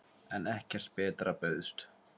En ekkert betra bauðst.